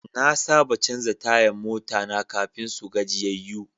Na saba canza tayan mota na kafin su gajiyayyu.